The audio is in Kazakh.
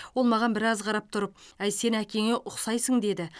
ол маған біраз қарап тұрып әй сен әкеңе ұқсайсың деді